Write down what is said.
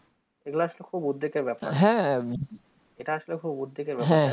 এইগুলা আসলে খুবই উদ্বেগের ব্যাপার এটা আসলে খুবই উদ্বেগের ব্যাপার